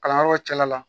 Kalanyɔrɔw cɛla la